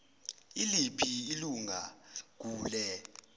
iliphi ilun gule